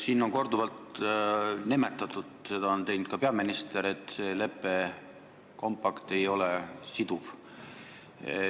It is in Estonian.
Siin on korduvalt nimetatud – seda on teinud ka peaminister –, et see lepe, kompakt ei ole siduv.